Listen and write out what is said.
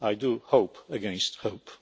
do. I do hope against hope.